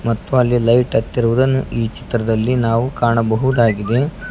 ಮತ್ತು ಅಲ್ಲಿ ಲೈಟ್ ಹತ್ತಿರುವುದನ್ನು ಈ ಚಿತ್ರದಲ್ಲಿ ನಾವು ಕಾಣಬಹುದಾಗಿದೆ.